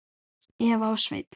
Eva og Sveinn.